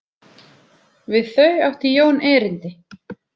Við þau átti Jón erindi.